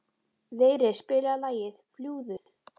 Vigri, spilaðu lagið „Fljúgðu“.